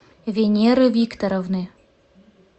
венеры викторовны